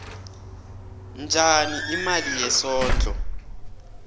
njani imali yesondlo